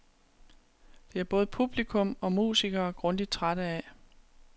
Det er både publikum og musikere grundigt trætte af.